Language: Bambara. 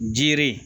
Jire